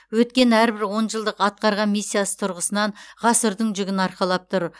өткен әрбір он жылдық атқарған миссиясы тұрғысынан ғасырдың жүгін арқалап тұр